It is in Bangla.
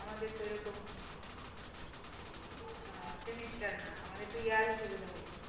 আমাদের তো ওইরকম semester না আমাদের year হিসাবে ধরে